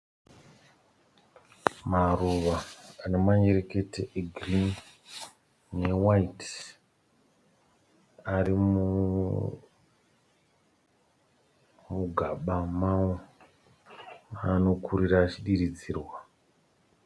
maruva anemanyerekete egreen ne white, arimugama mawo maanokurira achidiridzirwa.